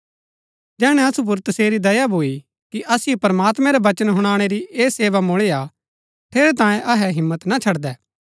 जैहणै असु पुर तसेरी दया भूईआ कि असिओ प्रमात्मैं रै वचन हुनाणै री ऐह सेवा मुळी हा ठेरैतांये अहै हिम्मत ना छड़दै